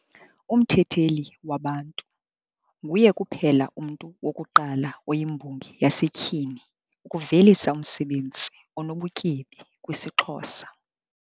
Umthetheli wa Bantu, Nguye kuphela umntu wokuqala oyimbongi yasetyhini ukuvelisa umsebenzi onobutyebi kwisiXhosa.